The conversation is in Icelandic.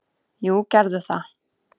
"""Jú, gerðu það!"""